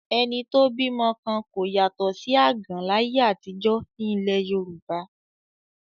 Ẹni tó bímọ kan kò yàtọ̀ sí àgàn láyé àtijọ́ ní ilẹ̀ Yorùbá